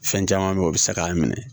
Fɛn caman bɛ yen o bɛ se k'an minɛ